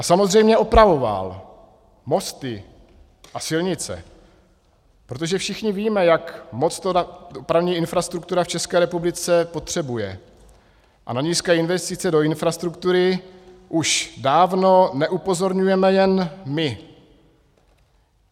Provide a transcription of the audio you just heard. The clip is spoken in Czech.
A samozřejmě opravoval mosty a silnice, protože všichni víme, jak moc to dopravní infrastruktura v České republice potřebuje, a na nízké investice do infrastruktury už dávno neupozorňujeme jen my.